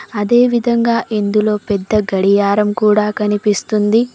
అదేవిధంగా ఇందులో పెద్ద గడియారం కూడా కనిపిస్తుంది.